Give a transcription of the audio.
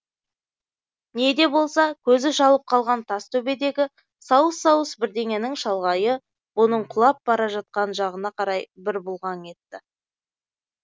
не де болса көзі шалып қалған тас төбедегі сауыс сауыс бірдеңенің шалғайы бұның құлап бара жатқан жағына қарай бір бұлғаң етті